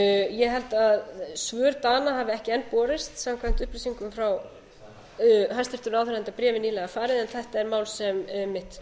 ég held að svör dana hafi ekki enn borist samkvæmt upplýsingum frá hæstvirtum ráðherra enda bréfið nýlega farið en þetta er mál sem einmitt